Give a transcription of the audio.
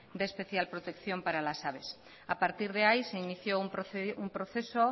de especial protección para la aves a partir de ahí se inició un proceso